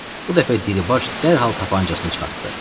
Bu dəfə Dribaş dərhal tapancasını çıxartdı.